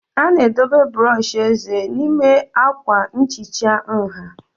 A na-edobe brọsh eze n'ime akwa nhicha nha